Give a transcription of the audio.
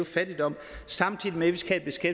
fattigdom samtidig med at vi skal